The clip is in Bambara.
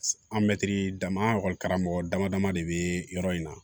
An mɛtiri dama an karamɔgɔ dama dama de bɛ yɔrɔ in na